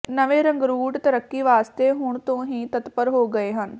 ਨਵੇਂ ਰੰਗਰੂਟ ਤਰੱਕੀ ਵਾਸਤੇ ਹੁਣ ਤੋਂ ਹੀ ਤਤਪਰ ਹੋ ਗਏ ਹਨ